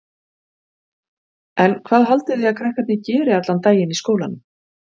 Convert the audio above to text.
En hvað haldið þið að krakkarnir geri allan daginn í skólanum?